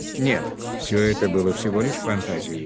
нет все это было всего лишь фантазией